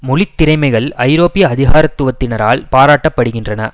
மொழி திறைமைகள் ஐரோப்பிய அதிகாரத்துவத்தினரால் பாராட்டப்படுகின்றன